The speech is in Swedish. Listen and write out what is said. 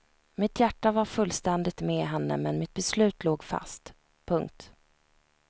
Mitt hjärta var fullständigt med henne men mitt beslut låg fast. punkt